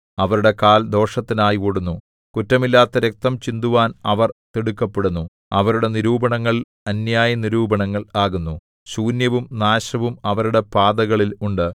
അവരുടെ കാൽ ദോഷത്തിനായി ഓടുന്നു കുറ്റമില്ലാത്ത രക്തം ചിന്തുവാൻ അവർ തിടുക്കപ്പെടുന്നു അവരുടെ നിരൂപണങ്ങൾ അന്യായനിരൂപണങ്ങൾ ആകുന്നു ശൂന്യവും നാശവും അവരുടെ പാതകളിൽ ഉണ്ട്